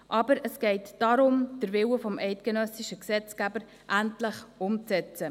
Aber es geht darum, den Willen des eidgenössischen Gesetzgebers endlich umzusetzen.